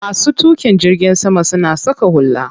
Masu tuƙin jirgin sama suna saka hula.